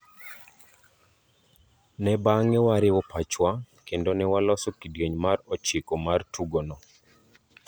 Ne bange wariwo pachwa kende ne waloso kidieny mar ochiko mar tugono.